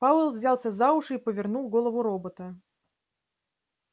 пауэлл взялся за уши и повернул голову робота